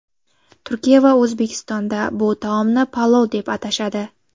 Turkiya va O‘zbekistonda bu taomni palov deb atashadi.